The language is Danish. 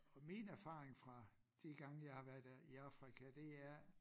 Og min erfaring fra de gange jeg har været der i Afrika det er